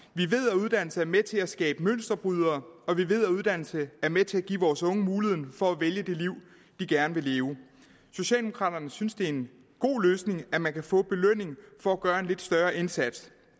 at uddannelse er med til at skabe mønsterbrydere og vi ved at uddannelse er med til at give vores unge muligheden for at vælge det liv de gerne vil leve socialdemokraterne synes det er en god løsning at man kan få en belønning for at gøre en lidt større indsats